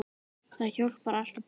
Það hjálpar alltaf til.